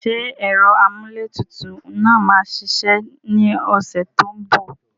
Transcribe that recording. Ṣé ẹ̀rọ amúlétutù náà máa ṣiṣẹ́ ní ọ̀sẹ̀ tó ń bọ̀?